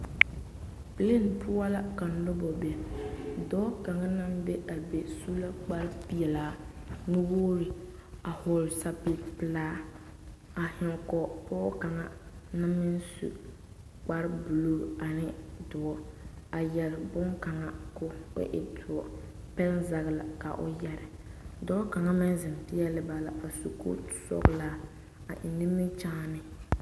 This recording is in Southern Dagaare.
Pilen poɔ la ka nobɔ be dɔɔ kaŋa naŋ be a be su la kparepelaa nuwogre a hɔɔle sapige pelaa a zeŋ kɔge pɔɔ kaŋ na meŋ su kparebluu ane doɔ a yɛre bonkaŋa ko o e doɔ pɛnzage la ka o yɛre dɔɔ kaŋa meŋ zeŋ peɛle ba la su kootu sɔglaa a eŋ nimikyaane.